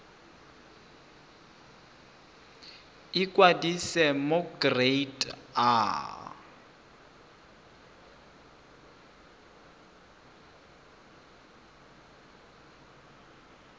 ikwadisa mo go kereite r